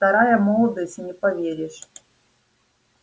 вторая молодость не поверишь